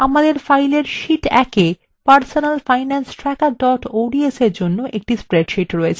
আমাদের file sheet ১এ personalfinancetracker ods –এর জন্য একটি spreadsheet রয়েছে